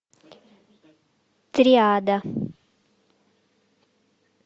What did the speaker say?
триада